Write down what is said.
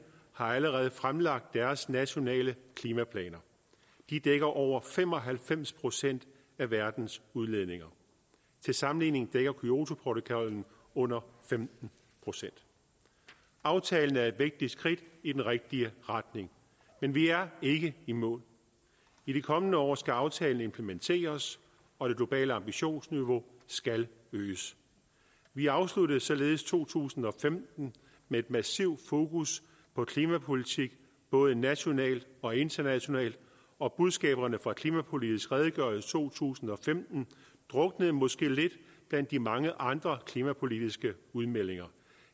har allerede fremlagt deres nationale klimaplaner de dækker over fem og halvfems procent af verdens udledninger til sammenligning dækker kyotoprotokollen under femten procent aftalen er et vigtigt skridt i den rigtige retning men vi er ikke i mål i de kommende år skal aftalen implementeres og det globale ambitionsniveau skal øges vi afsluttede således to tusind og femten med et massivt fokus på klimapolitik både nationalt og internationalt og budskaberne fra klimapolitisk redegørelse to tusind og femten druknede måske lidt blandt de mange andre klimapolitiske udmeldinger